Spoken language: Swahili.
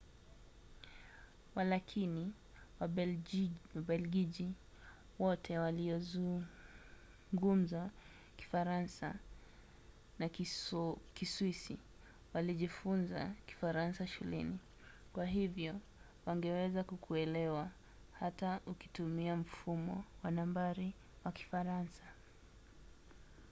walakini wabelgiji wote waliozungumza kifaransa na kiswisi walijifunza kifaransa shuleni kwa hivyo wangeweza kukuelewa hata ukitumia mfumo wa nambari wa kifaransa